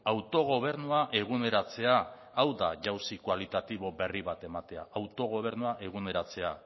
autogobernua eguneratzea hau da jauzi kualitatibo berri bat ematea autogobernua eguneratzea